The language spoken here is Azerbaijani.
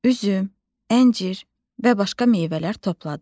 Üzüm, əncir və başqa meyvələr topladıq.